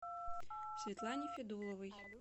светлане федуловой